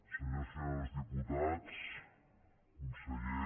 senyores i senyors diputats conseller